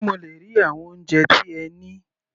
Sé mo le rí àwọn oúnjẹ tí ẹ ní?